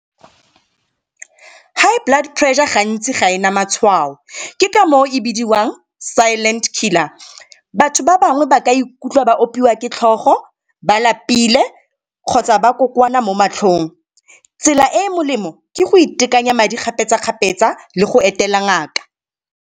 High blood pressure gantsi ga ena matshwao ke ka moo e bidiwang silent killer. Batho ba bangwe ba ka ikutlwa ba opiwa ke tlhogo, ba lapile kgotsa ba kokoana mo matlhong. Tsela e e molemo ke go itekanya madi kgapetsa-kgapetsa le go etela ngaka.